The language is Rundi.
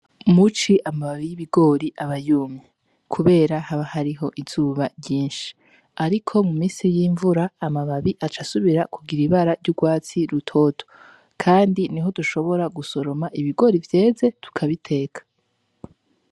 Muci amababi y'ibigori abayumi, kubera haba hariho izuba ryinshi, ariko mu misi y'imvura amababi aca asubira kugira ibara ry'urwatsi rutoto, kandi ni ho dushobora gusoroma ibigori vyeze tukabiteka.